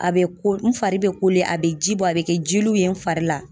A bɛ kole, n fari bɛ kole, a bɛ ji bɔ, a bɛ kɛ jeliw ye n fari la.